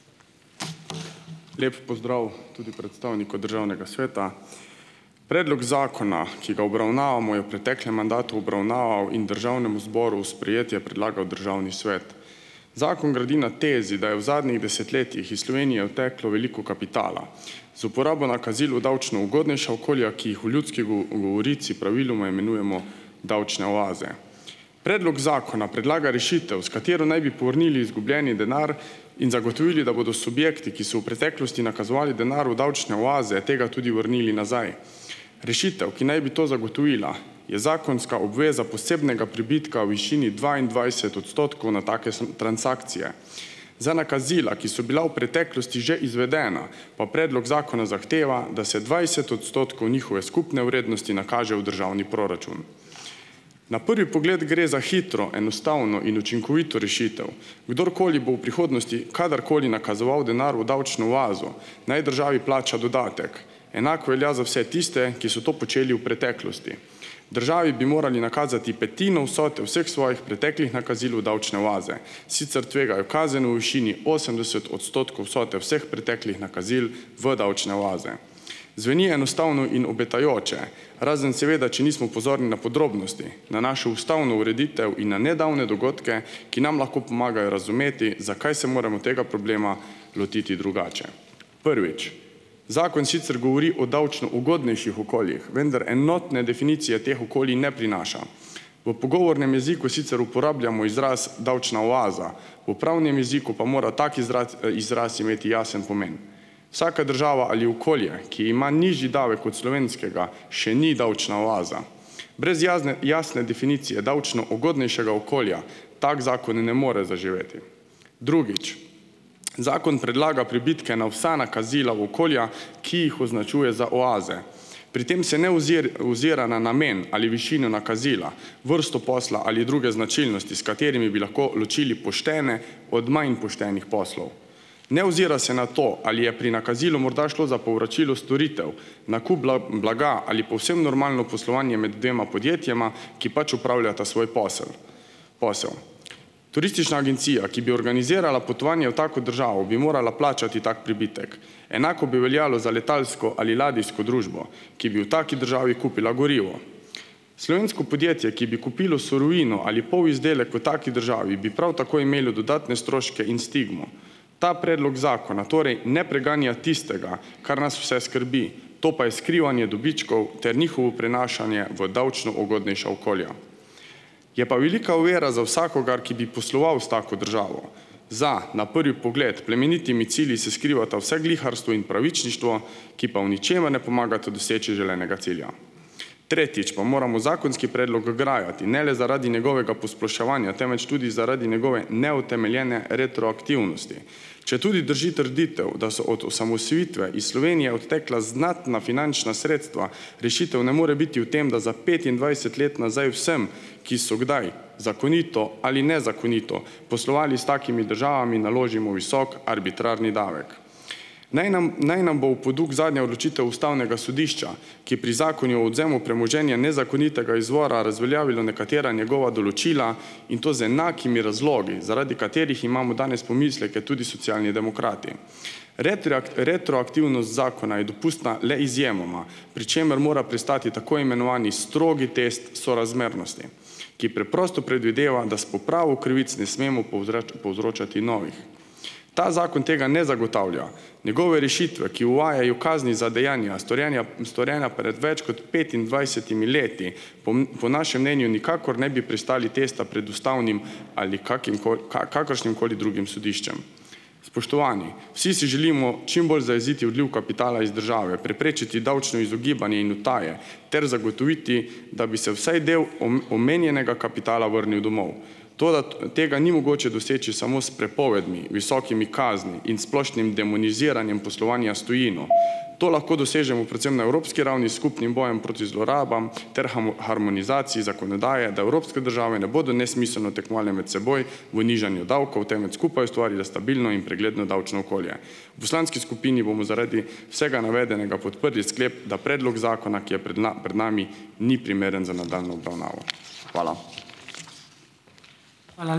Lep pozdrav tudi predstavniku državnega sveta. Predlog zakona, ki ga obravnavamo, je v preteklem mandatu obravnaval in državnemu zboru sprejetje predlagal državni svet. Zakon gradi na tezi, da je v zadnjih desetletjih iz Slovenije odteklo veliko kapitala. Z uporabo nakazil v davčno ugodnejša okolja, ki jih v ljudski govorici praviloma imenujemo davčne oaze. Predlog zakona predlaga rešitev, s katero naj bi povrnili izgubljeni denar in zagotovili, da bodo subjekti, ki so v preteklosti nakazovali denar v davčne oaze, tega tudi vrnili nazaj. Rešitev, ki naj bi to zagotovila, je zakonska obveza posebnega pribitka v višini dvaindvajset odstotkov na take transakcije. Za nakazila, ki so bila v preteklosti že izvedena, pa predlog zakona zahteva, da se dvajset odstotkov njihove skupne vrednosti nakaže v državni proračun. Na prvi pogled gre za hitro, enostavno in učinkovito rešitev. Kdorkoli bo v prihodnosti kadarkoli nakazoval denar v davčno oazo, naj državi plača dodatek, enako velja za vse tiste, ki so to počeli v preteklosti. Državi bi morali nakazati petino vsote vseh svojih preteklih nakazil v davčne oaze, sicer tvegajo kazen v višini osemdeset odstotkov vsote vseh preteklih nakazil v davčne oaze. Zveni enostavno in obetajoče, razen seveda, če nismo pozorni na podrobnosti, na našo ustavno ureditev in na nedavne dogodke, ki nam lahko pomagajo razumeti, zakaj se moramo tega problema lotiti drugače. Prvič, zakon sicer govori o davčno ugodnejših okoljih, vendar enotne definicije teh okolij ne prinaša. V pogovornem jeziku sicer uporabljamo izraz davčna oaza, v pravnem jeziku pa mora tak izraz imeti jasen pomen. Vsaka država ali okolje, ki ima nižji davek od slovenskega, še ni davčna oaza. Brez jazne, jasne definicije davčno ugodnejšega okolja, tak zakon ne more zaživeti. Drugič, zakon predlaga pribitke na vsa nakazila v okolja, ki jih označuje za oaze. Pri tem se ne ozira na namen ali višino nakazila, vrsto posla ali druge značilnosti, s katerimi bi lahko ločili poštene od manj poštenih poslov. Ne ozira se na to, ali je pri nakazilu morda šlo za povračilo storitev, nakup blaga ali povsem normalno poslovanje med dvema podjetjema, ki pač opravljata svoj posel, posel. Turistična agencija, ki bi organizirala potovanje v tako državo, bi morala plačati tak pribitek. Enako bi veljalo za letalsko ali ladijsko družbo, ki bi v taki državi kupila gorivo. Slovensko podjetje, ki bi kupilo surovino ali polizdelek v taki državi, bi prav tako imelo dodatne stroške in stigmo. Ta predlog zakona torej ne preganja tistega, kar nas vse skrbi, to pa je skrivanje dobičkov ter njihovo prenašanje v davčno ugodnejša okolja. Je pa velika ovira za vsakogar, ki bi posloval s tako državo. Za na prvi pogled plemenitimi cilji se skrivata vsegliharstvo in pravičništvo, ki pa v ničemer ne pomagata doseči želenega cilja. Tretjič pa moramo zakonski predlog grajati, ne le zaradi njegovega posploševanja, temveč tudi zaradi njegove neutemeljene retroaktivnosti. Četudi drži trditev, da so od osamosvojitve iz Slovenije odtekla znatna finančna sredstva, rešitev ne more biti v tem, da za petindvajset let nazaj vsem, ki so kdaj zakonito ali nezakonito poslovali s takimi državami, naložimo visok arbitrarni davek. Naj nam, naj nam bo v poduk zadnja odločitev ustavnega sodišča, ki pri Zakonu o odvzemu premoženja nezakonitega izvora razveljavilo nekatera njegova določila, in to z enakimi razlogi, zaradi katerih imamo danes pomisleke tudi Socialni demokrati. retroaktivnost zakona je dopustna le izjemoma, pri čemer mora pristati tako imenovani strogi test sorazmernosti, ki preprosto predvideva, da s popravo krivic ne smemo povzročati novih. Ta zakon tega ne zagotavlja, njegove rešitve, ki uvajajo kazni za dejanja, storjenja, storjena pred več kot petindvajsetimi leti, po, po našem mnenju nikakor ne bi pristali tista pred ustavnim ali kakim koli, kaj, kakršnimkoli drugim sodiščem. Spoštovani! Vsi si želimo čim bolj zajeziti odliv kapitala iz države, preprečiti davčno izogibanje in utaje ter zagotoviti, da bi se vsaj del omenjenega kapitala vrnil domov. Toda tega ni mogoče doseči samo s prepovedmi, visokimi kazni in splošnim demoniziranjem poslovanja s tujino, to lahko dosežemo predvsem na evropski ravni s skupnim bojem proti zlorabam ter harmonizaciji zakonodaje, da evropske države ne bodo nesmiselno tekmovale med seboj v nižanju davkov, temveč skupaj ustvarile stabilno in pregledno davčno okolje. V poslanski skupini bomo zaradi vsega navedenega podprli sklep, da predlog zakona, ki je pred pred nami, ni primeren za nadaljnjo obravnavo. Hvala.